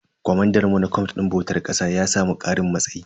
Comandan mu na camf din bautar ƙasa ya samu karin matsayi.